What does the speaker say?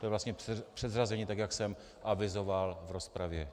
To je vlastně předřazení tak, jak jsem avizoval v rozpravě.